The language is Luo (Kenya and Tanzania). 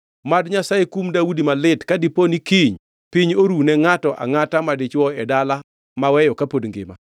Mad Nyasaye kum Daudi malit ka dipo ni kiny piny orune ngʼato angʼata madichwo e dala maweyo kapod ngima!”